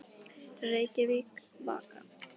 Reykjavík, Vaka.